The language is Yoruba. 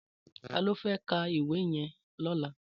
Tàló fè kà éwì yèn lòlá?